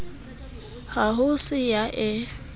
ha ho se ya e